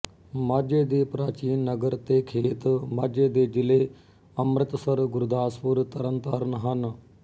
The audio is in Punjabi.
ਮਾਝੇ ਦੇ ਪ੍ਰਾਚੀਨ ਨਗਰ ਤੇ ਖੇਤਮਾਝੇ ਦੇ ਜਿਲ੍ਹੇ ਅੰਮ੍ਰਿਤਸਰ ਗੁਰਦਾਸਪੁਰ ਤਰਨਤਾਰਨ ਹਨ